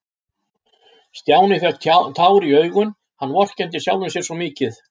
Stjáni fékk tár í augun, hann vorkenndi sjálfum sér svo mikið.